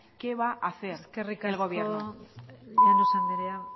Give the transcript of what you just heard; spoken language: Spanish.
qué va a hacer el gobierno eskerrik asko llanos andrea